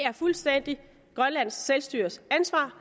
er fuldstændig grønlands selvstyres ansvar